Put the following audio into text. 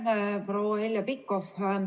Aitäh, proua Heljo Pikhof!